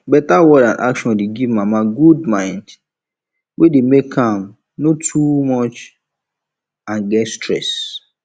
beta word and action dey give mama good mind wey dey make am no too much and get stress